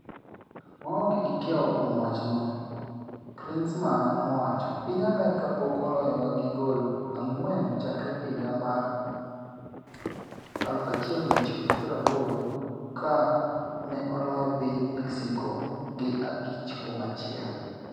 Waonge gi kiawa kuom wachno,'' Klinsmann nowacho, piny Amerka pok oloyo gi goal ang'wen chakre higa mar 1980 ka ne oloyo piny Mexico gi 5-1.